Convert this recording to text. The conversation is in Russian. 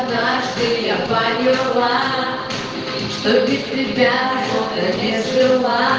а дальше я болела что у тебя решил а